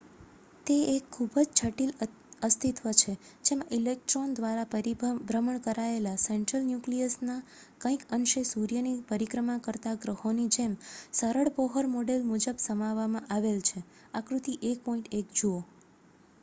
તે એક ખૂબ જ જટિલ અસ્તિત્વ છે જેમાં ઇલેક્ટ્રોન દ્વારા પરિભ્રમણ કરાયેલા સેન્ટ્રલ ન્યુક્લિયસના કંઈક અંશે સૂર્યની પરિક્રમા કરતા ગ્રહોની જેમ સરળ બોહર મોડેલ મુજબ સમાવવામાં આવેલ છે આકૃતિ 1.1 જુઓ